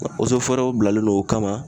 w bilalen don o kama